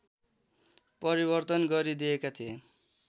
परिवर्तन गरिदिएका थिए